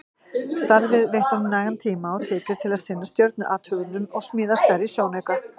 Starfið veitti honum nægan tíma og tekjur til að sinna stjörnuathugunum og smíða stærri sjónauka.